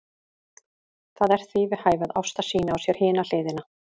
Það er því við hæfi að Ásta sýni á sér hina hliðina.